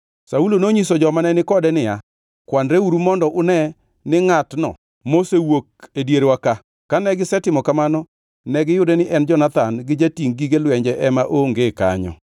Saulo nonyiso joma ne ni kode niya kwanreuru mondo une ni ngʼatno mosewuok e dierwa ka, kane gisetimo kamano negiyudo ni en Jonathan gi jatingʼ gige lwenje ema onge kanyo.